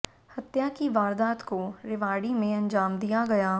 हत्या की वारदात को रेवाड़ी में अंजाम दिया गया